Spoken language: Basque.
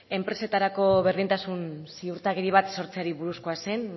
enpresetarako berdintasun ziurtagiri bat sortzeari buruzkoa zen